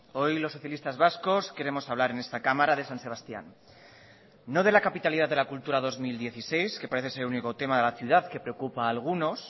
hoy los socialistas vascos queremos hablar en esta cámara de san sebastián no de la capitalidad de la cultura dos mil dieciséis que parece ser el único tema de la ciudad que preocupa a algunos